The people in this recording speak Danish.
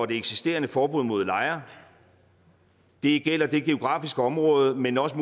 det eksisterende forbud mod lejre det gælder det geografiske område men også